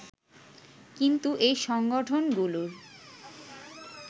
কিন্তু এই সংগঠনগুলোর